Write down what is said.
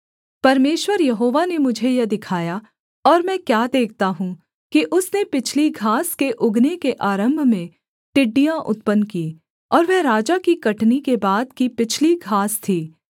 परमेश्वर यहोवा ने मुझे यह दिखाया और मैं क्या देखता हूँ कि उसने पिछली घास के उगने के आरम्भ में टिड्डियाँ उत्पन्न कीं और वह राजा की कटनी के बाद की पिछली घास थी